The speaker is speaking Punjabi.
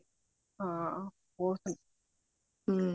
ਹਾਂ ਹੋ ਸਕਦਾ ਹਮ